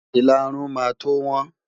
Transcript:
Ìlarun máa tó wọ́n.